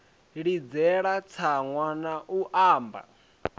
ḽidzela tsaṅwa na u anba